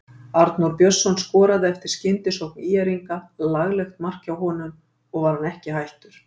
Arnór Björnsson skoraði eftir skyndisókn ÍR-inga, laglegt mark hjá honum og var hann ekki hættur.